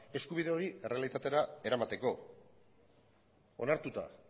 eskubide hori errealitatera eramateko onartuta